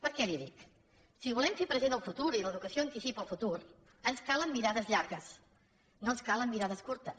per què li ho dic si volem fer present el futur i l’educació anticipa el futur ens calen mirades llargues no ens calen mirades curtes